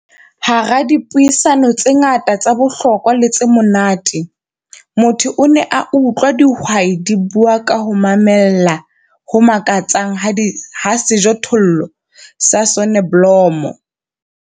Hara dipuisano tse ngata tsa bohlokwa le tse monate, motho o ne a utlwa dihwai di bua ka ho mamella ho makatsang ha sejothollo sa soneblomo.